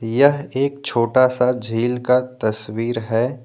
यह एक छोटा सा झील का तस्वीर है।